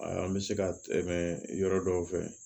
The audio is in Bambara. An bɛ se ka tɛmɛ yɔrɔ dɔw fɛ